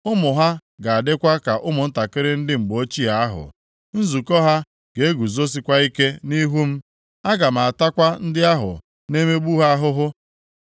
Ụmụ ha ga-adịkwa ka ụmụntakịrị ndị mgbe ochie ahụ, nzukọ ha ga-eguzosikwa ike nʼihu m. Aga m atakwa ndị ahụ na-emegbu ha ahụhụ.